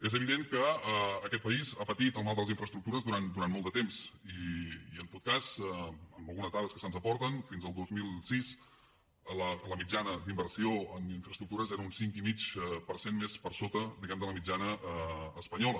és evident que aquest país ha patit el mal de les infraestructures durant molt de temps i en tot cas amb algunes dades que se’ns aporten fins al dos mil sis la mitjana d’inversió en infraestructures era un cinc i mig per cent més per sota diguem ne de la mitjana espanyola